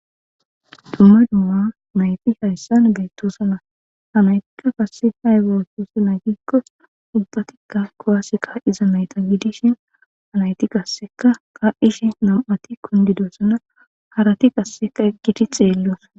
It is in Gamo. dumma dumma nayti hayssan gayttosana hanaytikka kasse haygaotoosa naytikko untatikka kowaseka iza nayta gidishin hanayti qasseka kaa7ishi nam7ati kundidosana harati qasseka eqgiti xeelloosa.